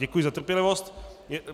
Děkuji za trpělivost.